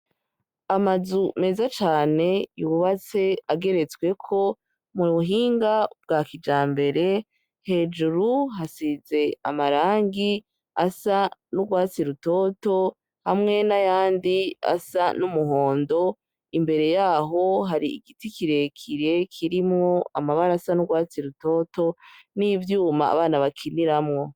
Amazu meza cane yubatswe ageretsweko mu buhinga bwa kijambere, hejuru hasize amarangi asa n'urwatsi rutoto hamwe n'ayandi asa n'umuhondo, imbere yaho hari igiti kirekire kirimwo amabara asa n'urwatsi rutoto n'ivyuma abana bakiniramwo.